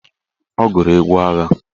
Ọ gụrụ egwu agha?